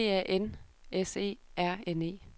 D A N S E R N E